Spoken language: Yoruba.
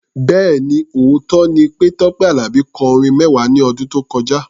Bẹ́ẹ̀ni, òótọ́ ni pé Tọ́pẹ́ Àlàbí kọ orin mẹ́wàá ní ọdún tó kọjá.